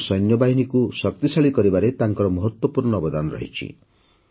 ଆମ ସୈନ୍ୟବାହିନୀକୁ ଶକ୍ତିଶାଳୀ କରିବାରେ ତାଙ୍କର ମହତ୍ତ୍ୱପୂର୍ଣ୍ଣ ଅବଦାନ ରହିଛି